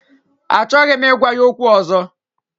Achọghị m ịgwa ya okwu ọzọ